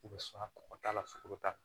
I bɛ sɔn ka kɔkɔ k'a la sukaro t'a la